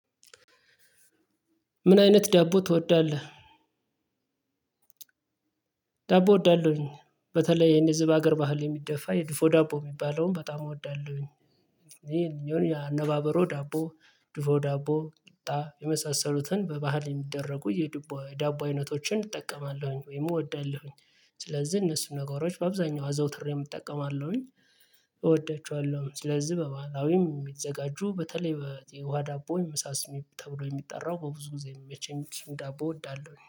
ምን አይነት ዳቦ ትወዳለህ? ዳቦ እወዳለሁኝ። በተለይ የኔ እዚህ አገር ባህል የሚደፋ የድፎ ዳቦ የሚባለውን በጣም እወዳለሁኝ። ይሄ የኛውን ያነባበረው ዳቦ ዱፎ ዳቦ ቂጣ የመሳሰሉትን በባህል የሚደረጉ የዳቦ አይነቶችን እጠቀማለሁኝ ወይም እወዳለሁኝ። ስለዚህ እነሱን ነገሮች በአብዛኛው አዘውትሬ እጠቀማለሁኝ። እወዳቸዋለሁ። ስለዚህ በባህላዊም የሚዘጋጁ በተለይ የውሃ ዳቦ ምሳ ስሜ ተብሎ የሚጠራው በብዙ ጊዜ የሚመቸኝ ዳቦ እወዳለሁ